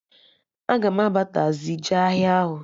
Aga m aba tazii jee ahịa ahụ